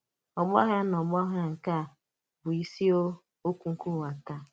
Ọ̀gbà àghàrà na ọ̀gbà àghàrà nke a bụ isi um okwu nke ụwa taa.